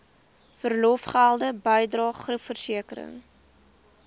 verlofgelde bydrae groepversekering